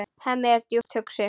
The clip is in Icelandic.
Hemmi er djúpt hugsi.